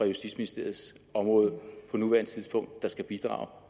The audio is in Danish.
justitsministeriets område på nuværende tidspunkt der skal bidrage